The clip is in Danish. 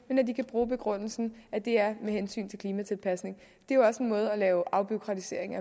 men nu kan bruge begrundelsen at det er af hensyn til klimatilpasning det er jo også en måde at lave afbureaukratisering